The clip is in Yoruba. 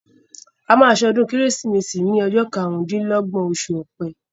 A ma ṣe ọdún Kérésìmesì ni ọjọ́ karùn-ún dín lọ́gbọ̀n oṣù Ọ̀pẹ